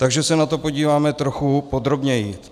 Takže se na to podíváme trochu podrobněji.